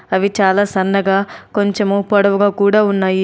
అవి చాలా సన్నగా కొంచము పొడవుగా కూడా ఉన్నాయి.